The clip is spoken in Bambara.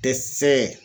Tɛ se